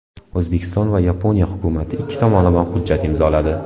O‘zbekiston va Yaponiya hukumati ikki tomonlama hujjat imzoladi.